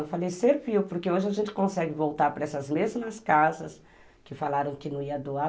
Eu falei, serviu, porque hoje a gente consegue voltar para essas mesmas casas que falaram que não ia doar.